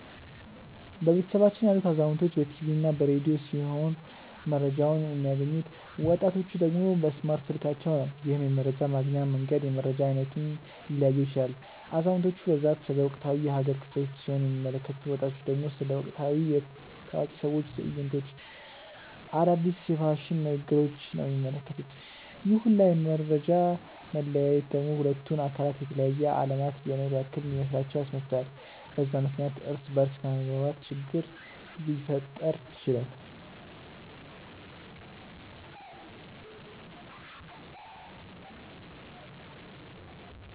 በቤተሰባችን ያሉት አዛውንቶች በ ቲቪ እና በ ረዲዮ ሲሆም መረጃቸውን የሚያገኙት፤ ወጣቲቹ ደግሞ በእስማርት ስልካቸው ነው። ይህም የመረጃ ማግኛ መንገድ የመረጃ አይነቱን ሊለያየው ይችላል። አዛውንቲቹ በብዛት ስለ ወቅታዊ የ ሃገር ክስተቶች ሲሆን የሚመለከቱት፤ ወጣቱ ደግሞ ስለ ወቅታዊ የ ታዋቂ ሰዎች ትዕይንቶች፣ አዳዲስ የ ፋሽን ንግግሪች ነው የሚመለከቱት፤ ይህ ሁላ የ መፈጃ መለያየት ደግሞ ሁለቱን አካላት የተለያየ አለማት እየኖሩ ያክል እንዲመስላቸው ያስመስላል፤ በዛም ምክንያት እርስ በ እርስ ከመግባባት ችግር ሊፈጠር ይችላል።